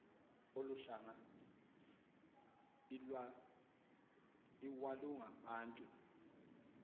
olu hlanga iwalungabantu